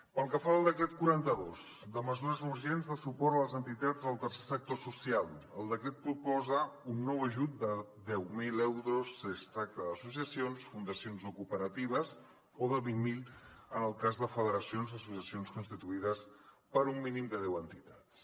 pel que fa al decret quaranta dos de mesures urgents de suport a les entitats del tercer sector social el decret proposa un nou ajut de deu mil euros si es tracta d’associacions fundacions o cooperatives o de vint mil en el cas de federacions d’associacions constituïdes per un mínim de deu entitats